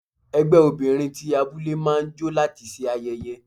Ẹgbẹ́ obìnrin ti abúlé máa ń jó láti ṣe ayẹyẹ.